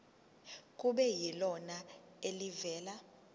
kube yilona elivela